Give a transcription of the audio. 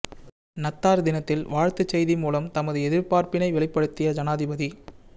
நத்தார் தினத்தில் வாழ்த்துச் செய்தி மூலம் தமது எதிர்பார்ப்பினை வெளிப்படுத்திய ஜனாதிபதி